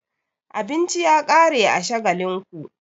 Abinci ya ƙare a Shagalinku.